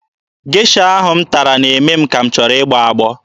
Gesha ahụ m tara na-eme m ka m chọrọ ịgbọ agbọ.